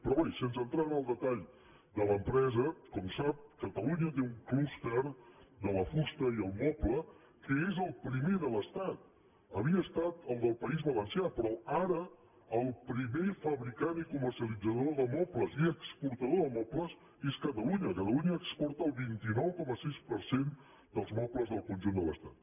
però bé sense entrar en el detall de l’empresa com sap catalunya té un clúster de la fusta i el moble que és el primer de l’estat ho havia estat el del país va·lencià però ara el primer fabricant i comercialitzador de mobles i exportador de mobles és catalunya cata·lunya exporta el vint nou coma sis per cent dels mobles del conjunt de l’estat